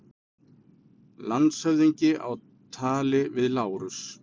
Landshöfðingi á tali við Lárus.